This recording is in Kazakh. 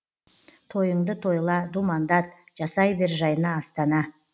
тойыңды тойла думандат жасай бер жайна астана